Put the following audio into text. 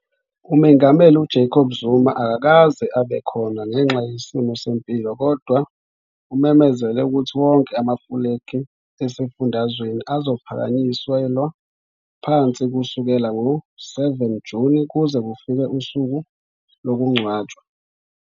UMengameli uJacob Zuma akakaze abe khona ngenxa yesimo sempilo kodwa umemezele ukuthi wonke amafulegi esifundazweni azophakanyiselwa phansi kusukela ngo-7 Juni kuze kufike usuku lokungcwatshwa.